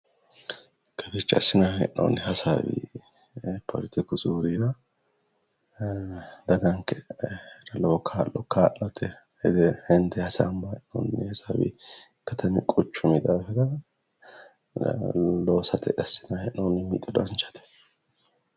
kawiicho assinanni hee'noonni hasaawi poletiku zuurira daganke lowo kaa'lo kaa'late hende hasaambanni hee'noonni hasaawi tatamu quchumi daafira loosate assinanni hee'noonni mixo danchate.